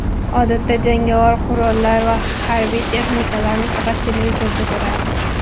Odatda, jangovar qurollar va harbiy texnikalarni faqat televizorda ko‘rardik.